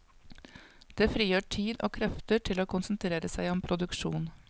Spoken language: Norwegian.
Det frigjør tid og krefter til å konsentrere seg om produksjon.